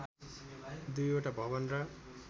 दुईवटा भवन र